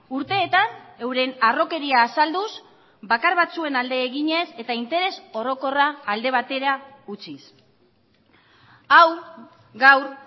urteetan euren harrokeria azalduz bakar batzuen alde eginez eta interes orokorra alde batera utziz hau gaur